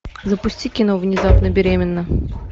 запусти кино внезапно беременна